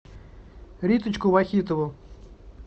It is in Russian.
риточку вахитову